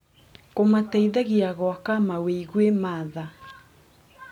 Kũmateithagia gwaka mawĩgwi ma tha.